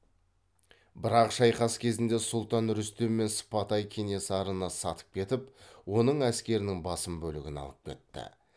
бірақ шайқас кезінде сұлтан рүстем мен сыпатай кенесарыны сатып кетіп оның әскерінің басым бөлігін алып кетті